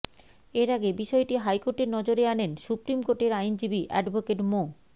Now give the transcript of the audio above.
এর আগে বিষয়টি হাইকোর্টের নজরে আনেন সুপ্রিম কোর্টের আইনজীবী অ্যাডভোকেট মো